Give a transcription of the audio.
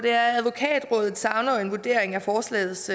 at advokatrådet savner en vurdering af forslagets